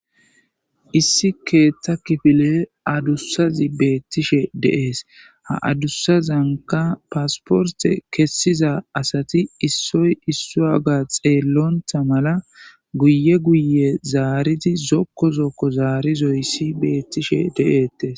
issi keeththa kifile adussazi beettishe deees ha adussazanka paasporte kessiza asati issoy issu a ga xeellontha mala guye guye zaaridi zokko zokko zaarizoyssi beettishe de7ettes